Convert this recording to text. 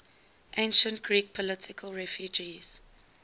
ancient greek political refugees